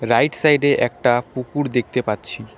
Right সাইডে একটা পুকুর দেখতে পাচ্ছি।